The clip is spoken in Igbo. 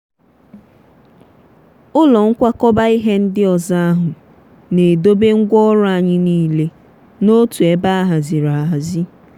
ụlọ nkwakọba ihe ndi ọzọ ahụ na-edobe ngwaọrụ anyị niile n'otu ebe a haziri ahazi.